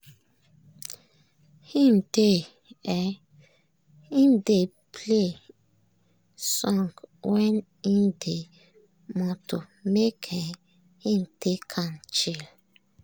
im dey um play song when im dey moto make um him take am chill.